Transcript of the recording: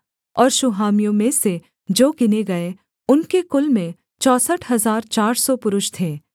और शूहामियों में से जो गिने गए उनके कुल में चौसठ हजार चार सौ पुरुष थे